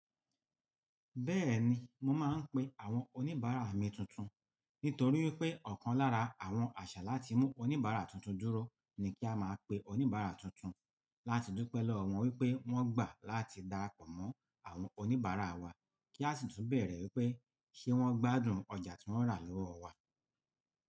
Bẹ́ẹ̀ni mo máa ń pe àwọn oníbàárà mi tuntun, nítorí wipé ọ̀kan lára àwọn àṣà láti mú oníbàárà tuntun dúró ni kí a máa pe oníbàárà tuntun láti dúpẹ́ lọ́wọ́ wọn wípé wón gbà láti darapọ̀ mọ́ àwọn oníbàárà wa, kí a sì tún bẹ̀rẹ̀ wípé ṣé wón gbádùn ọjà tí wón rà lọ́wọ́ wa.